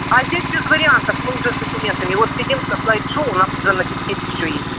а здесь без вариантов мы уже с документами вот сидим со слайд-шоу у нас уже на дискете все есть